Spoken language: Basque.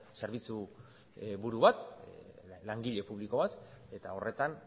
zerbitzu buru bat langile publiko bat eta horretan